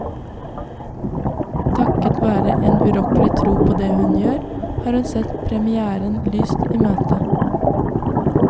Takket være en urokkelig tro på det hun gjør, har hun sett premièren lyst i møte.